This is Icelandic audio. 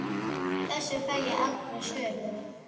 Þessu fæ ég aldrei svör við.